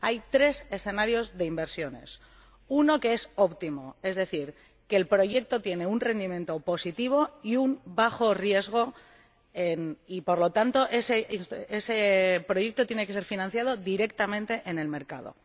Hay tres escenarios de inversiones uno que es óptimo, es decir, el proyecto tiene un rendimiento positivo y un bajo riesgo y, por lo tanto, ese proyecto tiene que ser financiado directamente en el mercado.